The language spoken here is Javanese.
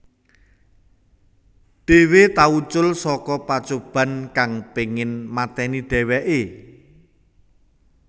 Dhewe tau ucul saka pacoban kang pengin mateni dheweke